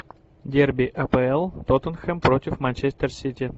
дерби апл тоттенхэм против манчестер сити